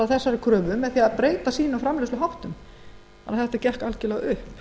þessari kröfu með því að breyta framleiðsluháttum sínum og það gekk alveg upp